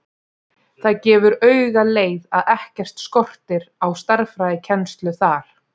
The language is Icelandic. Það gefur auga leið að ekkert skortir á stærðfræðikennslu þar.